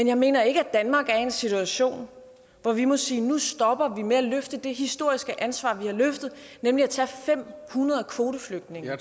jeg mener ikke at danmark er i en situation hvor vi må sige nu stopper vi med at løfte det historiske ansvar vi har løftet nemlig at tage fem hundrede kvoteflygtninge